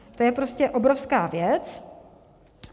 To je prostě obrovská věc.